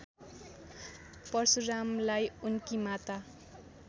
परशुरामलाई उनकी माता